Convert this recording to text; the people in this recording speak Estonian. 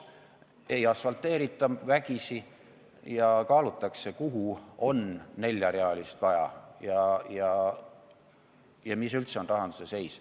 Ei asfalteerita vägisi ja kaalutakse, kuhu on neljarealist teed vaja ja mis üldse on rahanduse seis.